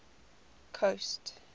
coast